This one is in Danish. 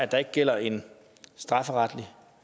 der ikke gælder en strafferetlig